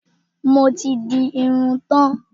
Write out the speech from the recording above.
Mo ti di irun tán.